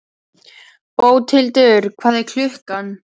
Bóthildur, hvað er klukkan?